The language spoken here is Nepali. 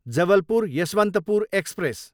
जबलपुर, यसवन्तपुर एक्सप्रेस